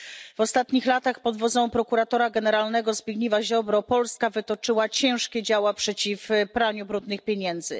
W ostatnich latach pod wodzą prokuratora generalnego Zbigniewa Ziobry Polska wytoczyła ciężkie działa przeciw praniu brudnych pieniędzy.